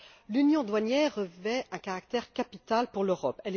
L'union douanière revêt un caractère capital pour l'Europe.